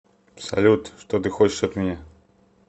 салют что ты хочешь от меня